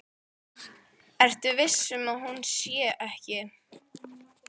Ertu viss um að hún sé ekki.